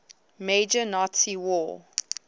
major nazi war